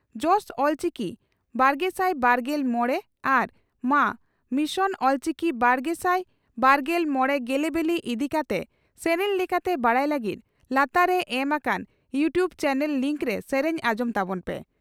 ᱡᱚᱥ ᱚᱞᱪᱤᱠᱤᱼᱵᱟᱨᱜᱮᱥᱟᱭ ᱵᱟᱨᱜᱮᱞ ᱢᱚᱲᱮ ᱟᱨ ᱢᱟ ᱢᱤᱥᱚᱱ ᱚᱞᱪᱤᱠᱤ ᱵᱟᱨᱜᱮᱥᱟᱭ ᱵᱟᱨᱜᱮᱞ ᱢᱚᱲᱮ ᱜᱮᱞᱮᱵᱤᱞᱤ ᱤᱫᱤ ᱠᱟᱛᱮ ᱥᱮᱨᱮᱧ ᱞᱮᱠᱟᱛᱮ ᱵᱟᱰᱟᱭ ᱞᱟᱹᱜᱤᱫ ᱞᱟᱛᱟᱨ ᱨᱮ ᱮᱢ ᱟᱠᱟᱱ ᱭᱩᱴᱩᱵᱽ ᱪᱟᱱᱮᱞ ᱞᱤᱸᱠᱨᱮ ᱥᱮᱨᱮᱧ ᱟᱸᱡᱚᱢ ᱛᱟᱵᱚᱱ ᱯᱮ ᱾